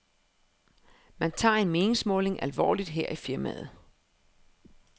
Man tager en meningsmåling alvorligt her i firmaet.